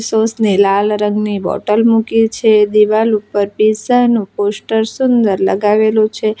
સોસની લાલ રંગની બોટલ મૂકી છે દિવાલ ઉપર પીઝા નું પોસ્ટર સુંદર લગાવેલું છે.